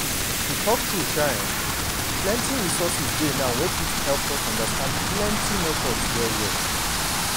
to talk true um eh plenty resources dey now wey fit help us understand protection methods well well